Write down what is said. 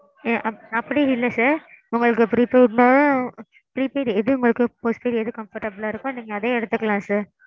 ஆ ஆ அப்பிடி இல்ல sir. உங்களுக்கு prepaid ல prepaid எது உங்களுக்கு postpaid எது comfortable லா இருக்கோ நீங்க அதே எடுத்துக்கலாம் sir.